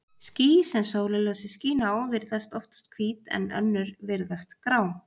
Ský, sem sólarljósið skín á, virðast oftast hvít, en önnur virðast grá.